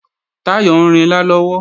Táyọ̀ ń rinlá lọ́wọ́